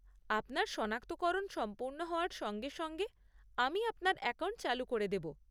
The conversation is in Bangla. আপনার সনাক্তকরণ সম্পূর্ণ হওয়ার সঙ্গে সঙ্গে আমি আপনার অ্যাকাউন্ট চালু করে দেব।